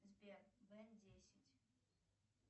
сбер б десять